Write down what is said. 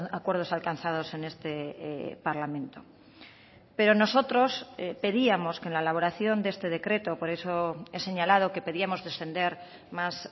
acuerdos alcanzados en este parlamento pero nosotros pedíamos que en la elaboración de este decreto por eso he señalado que pedíamos descender más